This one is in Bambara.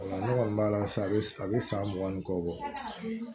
Ne kɔni b'a la sa a bɛ san mugan ni kɔ bɔ